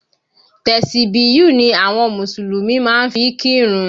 Tẹ̀sìbíyù ni àwọn Mùsùlùmí máa ń fi kírun